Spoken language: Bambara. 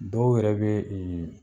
Dɔw yɛrɛ be e